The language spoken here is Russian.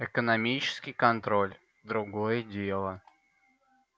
экономический контроль другое дело